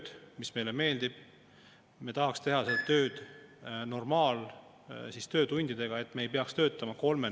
Peab tunnistama, et ma olen saanud ka täna päris hulga kõnesid inimestelt, kes toetavad opositsioonisaadikuid ja seda tööd, mida me siin teeme selle teerulli vastu võitlemisel.